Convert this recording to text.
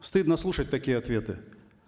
стыдно слушать такие ответы